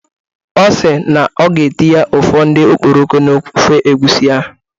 Ọ si na ọ ga-etinye ụfọdụ okporoko n'ofe egwusi ahụ.